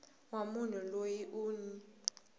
wa munhu loyi u n